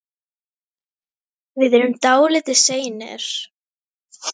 Við erum þegar dálítið seinir.